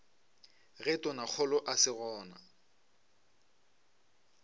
ge tonakgolo a se gona